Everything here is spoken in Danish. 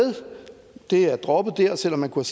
det er droppet der selv om man kunne